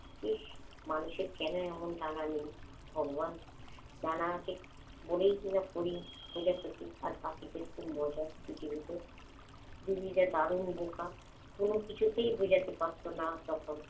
ইস্ মানুষের কেন এমন ডানা নেই ভগবান? ডানা আছে বলেই কি ওরা মজার পৃথিবীতে তনু যে দারুণ বোকা, কোনো কিছুতেই বুঝাতে পারত না তখন।